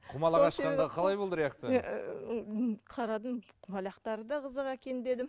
құмалақ ашқанда қалай болды реакцияңыз қарадым құмалақтары да қызық екен дедім